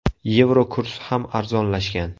Yevro kursi ham arzonlashgan.